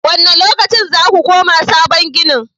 Wane lokaci za ku koma sabon ginin?